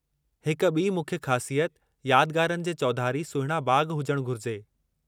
हिकु ॿी मुख्य ख़ासियत यादगारनि जे चौधारी सुहिणा बाग़ हुजणु घुरिजे।